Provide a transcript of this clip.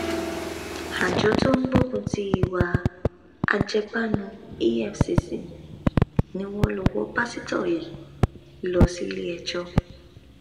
àjọ tó ń gbógun ti ìwà ajẹbànù efcc ni wọn lọ wọ pásítọ yìí lọ síléẹjọ